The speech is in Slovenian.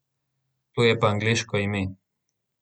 To je pa angleško ime.